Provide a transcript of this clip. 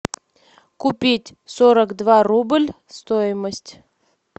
купить сорок два рубль стоимость